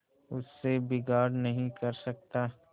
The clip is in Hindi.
उससे बिगाड़ नहीं कर सकता